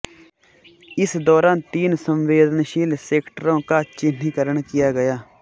इस दौरान तीन संवेदनशील सेक्टरों का चिह्नीकरण किया गया